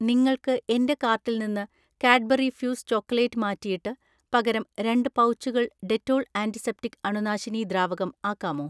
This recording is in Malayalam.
നിങ്ങൾക്ക് എന്‍റെ കാർട്ടിൽ നിന്ന് കാഡ്ബറി ഫ്യൂസ് ചോക്കലേറ്റ് മാറ്റിയിട്ട് പകരം രണ്ട് പൗച്ചുകൾ ഡെറ്റോൾ ആന്റിസെപ്റ്റിക് അണുനാശിനി ദ്രാവകം ആക്കാമോ